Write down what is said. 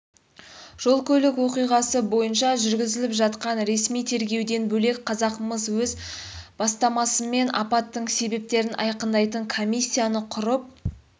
жол-көлік оқиғасы бойынша жүргізіліп жатқан ресми тергеуден бөлек қазақмыс өз бастамасымен апаттың себептерін айқындайтын комиссияны құрып